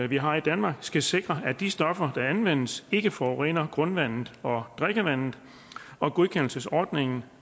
vi har i danmark skal sikre at de stoffer der anvendes ikke forurener grundvandet og drikkevandet og godkendelsesordningen